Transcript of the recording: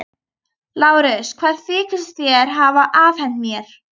LÁRUS: Hvað þykist þér hafa afhent mér?